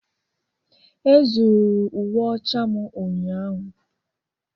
Ezuuru uwe ọcha m ụnyahụ.